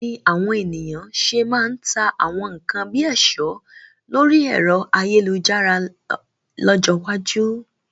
Báwo ni àwọn ènìyàn ṣe máa ta àwọn nkan bíi ẹ̀ṣọ́ lórí ẹ̀rọ ayélujára lọ́jọ́ iwájú?